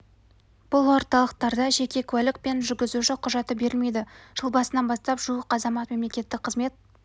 бұл орталықтарда жеке куәлік пен жүргізуші құжаты берілмейді жыл басынан бастап жуық азамат мемлекеттік қызмет